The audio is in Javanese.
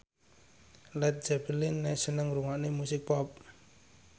Led Zeppelin seneng ngrungokne musik pop